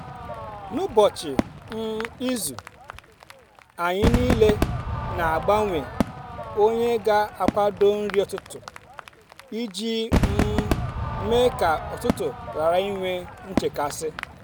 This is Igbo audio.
n’ụbọchị um izu um anyị niile na-agbanwe onye ga akwado nri ụtụtụ iji um mee ka ụtụtụ ghara inwe nchekasị